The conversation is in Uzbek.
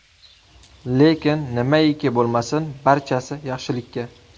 Lekin nimaiki bo‘lmasin, barchasi yaxshilikka.